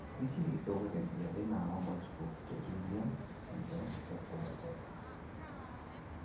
Nĩkĩ gĩcũngagĩrĩria thĩna wa multiple pterygium syndrome, Escobar type?